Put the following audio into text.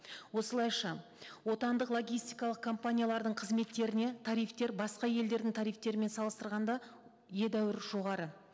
осылайша отандық логистикалық компаниялардың қызметтеріне тарифтер басқа елдердің тарифтерімен салыстырғанда едәуір жоғары